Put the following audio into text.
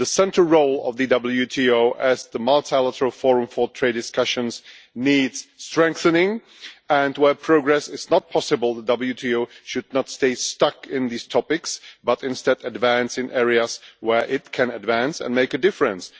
The central role of the WTO as the multilateral forum for trade discussions needs strengthening and, where progress is not possible, the WTO should not stay stuck on these topics, but instead advance in areas where it can advance and make a difference.